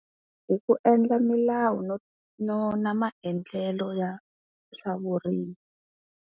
Hi ku endla milawu no no na maendlelo ya swa vurimi.